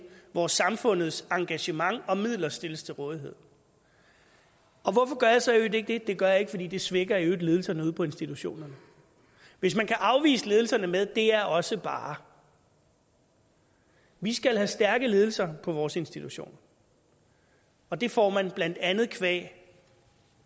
hvor samfundets engagement og midler stilles til rådighed og hvorfor gør jeg så i øvrigt ikke det det gør jeg ikke fordi det svækker ledelserne ude på institutionerne hvis man kan afvise ledelserne med det er også bare vi skal have stærke ledelser på vores institutioner og det får man blandt andet qua